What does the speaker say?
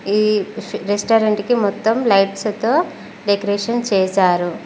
ఈ రెస్టారెంట్ కి మొత్తం లైట్స్ తో డెకరేషన్ చేశారు.